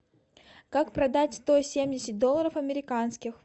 как продать сто семьдесят долларов американских